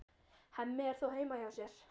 Hemmi er þó heima hjá sér.